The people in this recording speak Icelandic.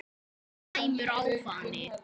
Slæmur ávani